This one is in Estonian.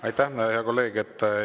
Aitäh, hea kolleeg!